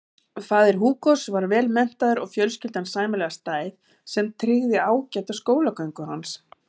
Faðir Hugos var vel menntaður og fjölskyldan sæmilega stæð sem tryggði ágæta skólagöngu hans.